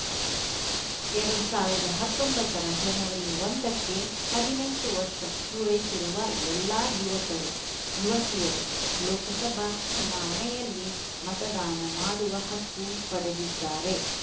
ಎರಡು ಸಾವಿರದ ಹತ್ತೊಂಬತ್ತರ ಜನವರಿ ಒಂದಕ್ಕೆ ಹದಿನೆಂಟು ವರ್ಷ ಪೂರೈಸಿರುವ ಎಲ್ಲಾ ಯುವಕರು ಯುವತಿಯರು ಲೋಕಸಭಾ ಚುನಾವಣೆಯಲ್ಲಿ ಮತದಾನ ಮಾಡುವ ಹಕ್ಕು ಪಡೆದಿದ್ದಾರೆ